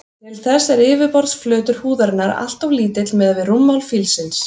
Til þess er yfirborðsflötur húðarinnar alltof lítill miðað við rúmmál fílsins.